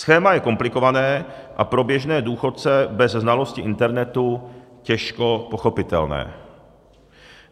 Schéma je komplikované a pro běžné důchodce bez znalosti internetu těžko pochopitelné.